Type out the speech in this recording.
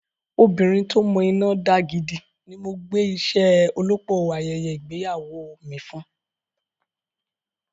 Obìnrin tí ó mọ iná dá gidi ni mo gbé iṣẹ́ olópò ayẹyẹ ìgbéyàwó mi fún.